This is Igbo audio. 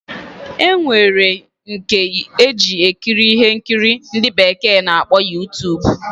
Enwere nke eji ekiri ihe nkiri ndi bekee na-akpọ Youtube.